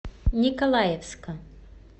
николаевска